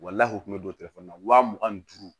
Walahi kun bɛ don telefɔni na wa mugan ni duuru